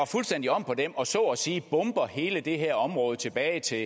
fuldstændig om på dem og så at sige bombede hele det her område tilbage til